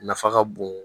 Nafa ka bon